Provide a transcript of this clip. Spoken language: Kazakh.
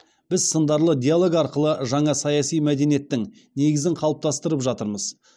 біз сындарлы диалог арқылы жаңа саяси мәдениеттің негізін қалыптастырып жатырмыз